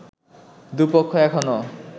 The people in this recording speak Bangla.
দু পক্ষ এখনো